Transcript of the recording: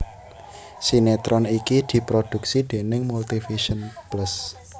Sinetron iki diproduksi déning Multivision Plus